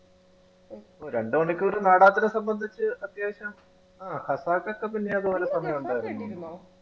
രണ്ടു മണിക്കൂർ നാടകത്തിനെ സംബന്ധിച്ച് അത്യാവശ്യം ആ മുന്നേ ഇതുപോലെ സമയം ഉണ്ടായിരുന്നു.